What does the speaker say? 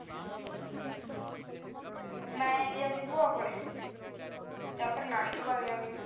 ਮੈਂ ਜੀ ਆਪਣੀ ਭੂਆ ਕੋਲ ਜਾਂ ਫਿਰ ਨਾਨਕਿਆਂ ਵਾਲੇ ਦੇ